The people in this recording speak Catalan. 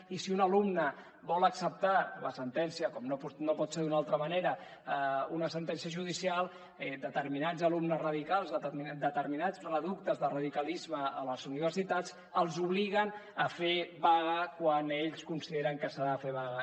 i si un alumne vol acceptar la sentència com no pot ser d’una altra manera una sentència judicial determinats alumnes radicals determinats reductes de radicalisme a les universitats els obliguen a fer vaga quan ells consideren que s’ha de fer vaga